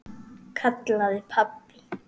kallaði pabbi.